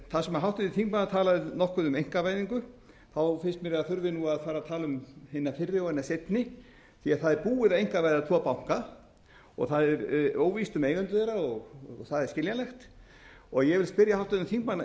þar sem háttvirtur þingmaður talaði nokkuð um einkavæðingu finnst mér að þurfi nú að fara að tala um hina fyrri og hina seinni því að það er búið að einkavæða tvo banka og það er óvíst um eigendur þeirra og það er skiljanlegt ég vil spyrja háttvirtan þingmann